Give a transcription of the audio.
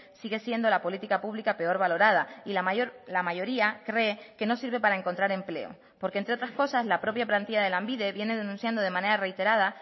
sigue siendo la política pública peor valorada y la mayoría cree que no sirve para encontrar empleo porque entre otras cosas la propia plantilla de lanbide viene denunciando de manera reiterada